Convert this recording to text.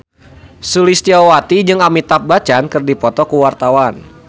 Sulistyowati jeung Amitabh Bachchan keur dipoto ku wartawan